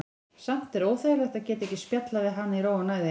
Samt er óþægilegt að geta ekki spjallað við hana í ró og næði.